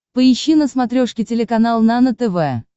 поищи на смотрешке телеканал нано тв